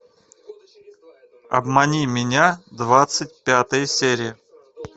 обмани меня двадцать пятая серия